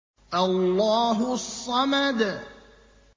اللَّهُ الصَّمَدُ